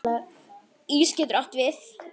Ís getur átt við